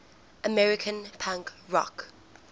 american punk rock